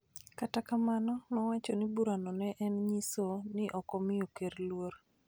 Kata kamano, nowacho ni burano ne en nyiso ni ok omiyo Ker luor .